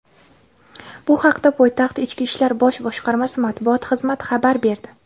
Bu haqda poytaxt Ichki ishlar bosh boshqarmasi matbuot xizmati xabar berdi.